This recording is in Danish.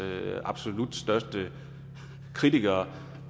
absolut største kritikere